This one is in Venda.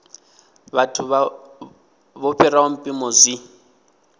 vhathu vho fhiraho mpimo zwi